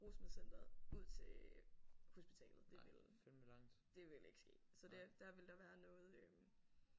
Rusmiddelcenteret ud til hospitalet det ville det ville ikke ske så der der ville der være noget øh